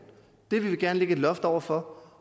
og det vil vi gerne lægge et loft over for